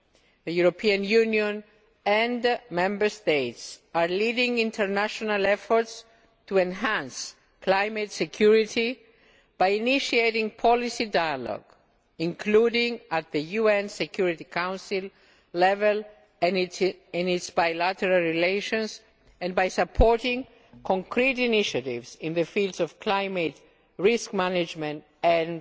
The European Union and Member States are leading international efforts to enhance climate security by initiating policy dialogue, including at the UN Security Council level and in its bilateral relations and by supporting concrete initiatives in the fields of climate risk management